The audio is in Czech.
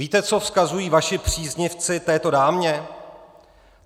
Víte, co vzkazují vaši příznivci této dámě?